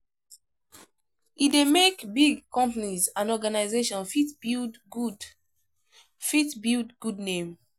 E de make big companies and organization fit build good fit build good name